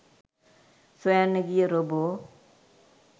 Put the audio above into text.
සොයන්න ගිය රොබෝ